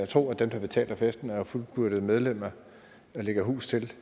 tro at dem der betaler festen og som er fuldgyldige medlemmer og lægger hus til